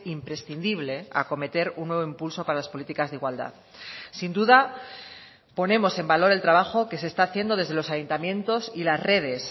imprescindible acometer un nuevo impulso para las políticas de igualdad sin duda ponemos en valor el trabajo que se está haciendo desde los ayuntamientos y las redes